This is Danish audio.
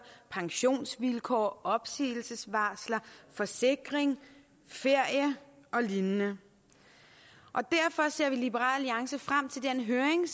pensionsvilkår opsigelsesvarsler forsikring ferie og lignende derfor ser vi i liberal alliance frem til den høring